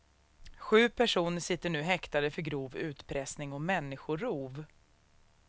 Sju personer sitter nu häktade för grov utpressning och människorov.